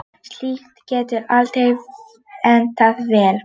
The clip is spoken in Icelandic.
Slíkt getur aldrei endað vel.